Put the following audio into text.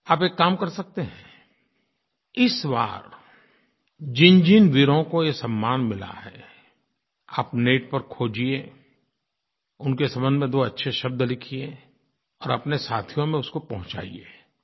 आप एक काम कर सकते हैं इस बार जिनजिन वीरों को ये सम्मान मिला है आप नेट पर खोजिए उनके संबंध में दो अच्छे शब्द लिखिए और अपने साथियों में उसको पहुँचाइए